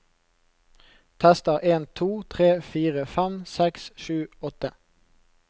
Tester en to tre fire fem seks sju åtte